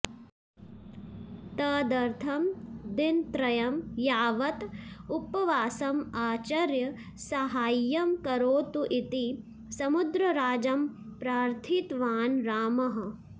तदर्थं दिनत्रयं यावत् उपवासम् आचर्य साहाय्यं करोतु इति समुद्रराजं प्रार्थितवान् रामः